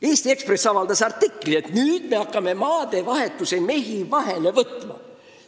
Eesti Ekspress avaldas artikli, et nüüd me hakkame maadevahetuse mehi vahele võtma.